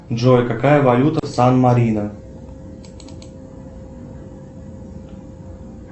джой какая валюта в сан марино